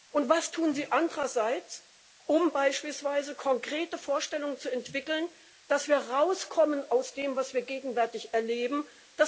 Und was tun Sie andererseits, um beispielsweise konkrete Vorstellungen zu entwickeln, dass wir aus dem, was wir gegenwärtig erleben, herauskommen?